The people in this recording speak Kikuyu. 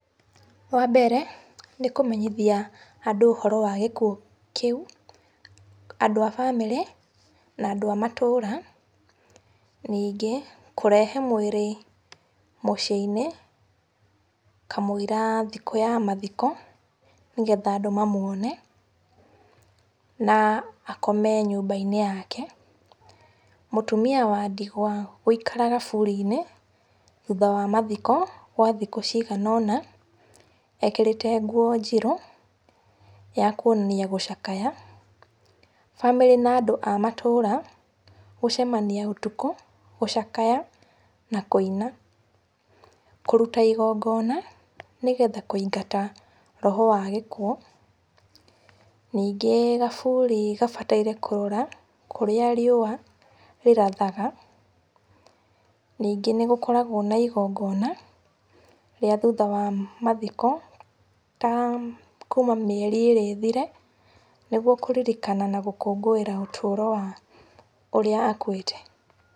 Wambere nĩ kũmenyithia andũ ũhoro wa gĩkuũ kĩu, andũ a bamĩrĩ na andũ a matũra. Ningĩ kũrehe mwĩrĩ mũciĩ-inĩ kamũira thikũ ya mathiko nĩgetha andũ manuone na akome nyũmba-inĩ yake. Mũtumia wa ndigwa gũikara kaburi-inĩ, thutha wa mathiko kwa thikũ cigana ũna, ekĩrĩte nguo njirũ ya kuonania gũcakaya. Bamĩrĩ na andũ a matũra gũcemania ũtukũ gũcakaya na kũina. Kũruta igongona nĩgetha kũingata roho wa gĩkuũ. Ningĩ kaburi gabataire kũrora kũrĩa riũa rĩrathaga. Ningĩ nĩgũkoragwo na igongona rĩa thutha wa mathiko ta kuma mĩeri ĩrĩ ĩthire, nĩguo kũririkana na gũkũngũĩra ũtũro wa ũrĩa akuĩte.